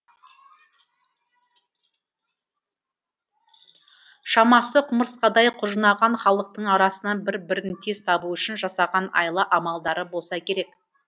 шамасы құмырсқадай құжынаған халықтың арасынан бір бірін тез табу үшін жасаған айла амалдары болса керек